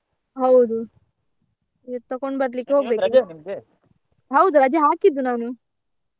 ಹೌದು ಇವತ್ತು ತಗೊಂಡ್ ಬರ್ಲಿಕ್ಕೆ ಹೌದು ರಜೆ ಹಾಕಿದ್ದು ನಾನು.